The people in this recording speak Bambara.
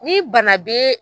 Ni bana be